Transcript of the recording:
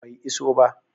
Bai iso ba